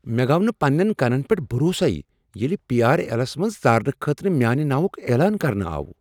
مےٚ گو نہٕ پننٮ۪ن کنن پٮ۪ٹھ بھروسٕے ییٚلہ پی۔ آر۔ ایلس منٛز ژارنہٕ خٲطرٕ میانِہ ناوک اعلان کرنہٕ آو ۔